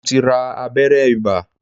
Mo ti ra abẹ́rẹ́ ibà